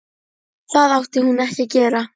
Það átti hún ekki að gera.